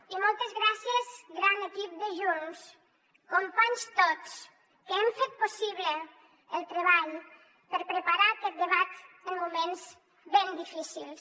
i moltes gràcies gran equip de junts companys tots que hem fet possible el treball per preparar aquest debat en moments ben difícils